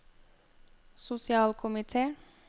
sosialkomite